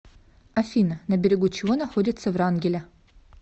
афина на берегу чего находится врангеля